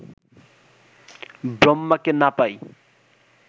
ব্রহ্মাকে না পাই